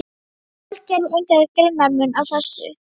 Fólk gerði engan greinarmun á þessu.